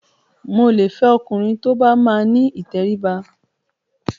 Mo lè fẹ ọkùnrin tó bá máa ni ìtẹríba.